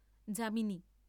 Jamini.